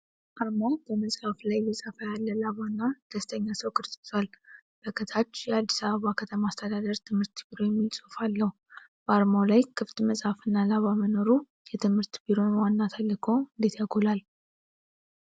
ዓርማው በመጽሐፍ ላይ እየጻፈ ያለ ላባ እና ደስተኛ ሰው ቅርጽ ይዟል። በ ከታች የአዲስ አበባ ከተማ አስተዳደር ትምህርት ቢሮ የሚል ጽሑፍ አለው። በዓርማው ላይ ክፍት መጽሐፍ እና ላባ መኖሩ የትምህርት ቢሮውን ዋና ተልዕኮ እንዴት ያጎላል?